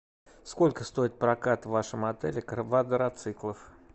сколько стоит прокат в вашем отеле квадроциклов